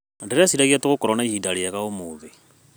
Ndĩreciria tũgũkorwo na ihinda rĩega ũmũthĩ.